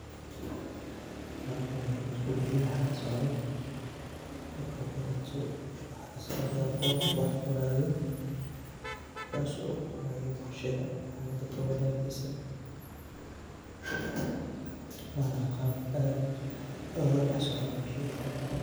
Halkani haddii isku dayo waxa ka socdo .Marka horeeto waxaa ka socdaa qof wax qoraayo ,kaasi oo qoraayo qorshada ama daka wanagiisa ,waana qaab aad oga dhax socdo bulshada inta badan.